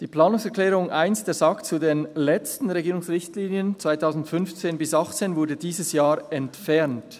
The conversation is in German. Die Planungserklärung 1 der SAK zu den letzten Regierungsrichtlinien 2015–2018 wurde dieses Jahr entfernt.